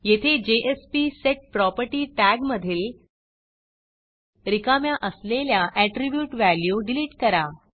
येथे jspsetProperty टॅगमधील रिकाम्या असलेल्या ऍट्रीब्यूट व्हॅल्यू डिलिट करा